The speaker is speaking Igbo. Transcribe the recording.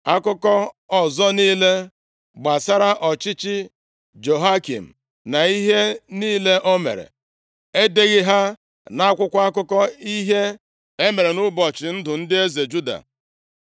Akụkọ ọzọ niile gbasara ọchịchị Jehoiakim na ihe niile o mere, e deghị ha nʼakwụkwọ akụkọ ihe e mere nʼụbọchị ndụ ndị eze Juda?